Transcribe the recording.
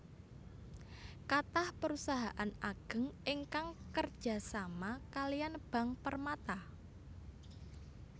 Kathah perusahaan ageng ingkang kerja sama kaliyan Bank Permata